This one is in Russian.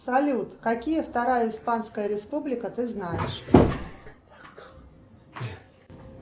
салют какие вторая испанская республика ты знаешь